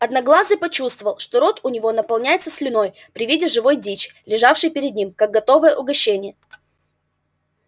одноглазый почувствовал что рот у него наполняется слюной при виде живой дичи лежавшей перед ним как готовое угощение